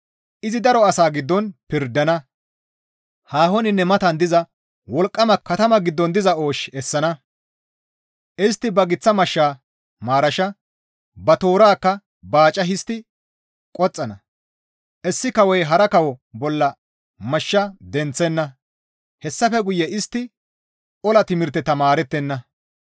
Izi daro asa giddon pirdana; haahoninne matan diza wolqqama katama giddon diza oosh essana; istti ba giththa mashsha maarasha, ba toorakka baaca histti qoxxana; issi kawoy hara kawo bolla mashsha denththenna; hessafe guye istti ola timirte tamaarettenna.